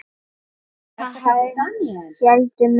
Eða það héldu menn.